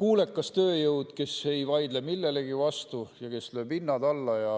kuulekas tööjõud, kes ei vaidle millelegi vastu ja kes lööb hinnad alla.